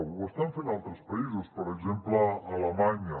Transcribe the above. ho estan fent altres països per exemple alemanya